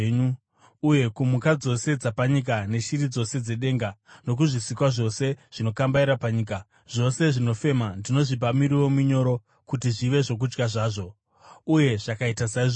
Uye kumhuka dzose dzapanyika neshiri dzose dzedenga nokuzvisikwa zvose zvinokambaira panyika, zvose zvinofema, ndinozvipa miriwo minyoro kuti zvive zvokudya zvazvo.” Uye zvakaita saizvozvo.